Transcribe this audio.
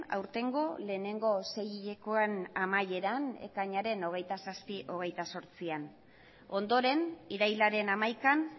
aurtengo lehenengo sei hilekoen amaieran ekainaren hogeita zortzian ondoren irailaren hamaikan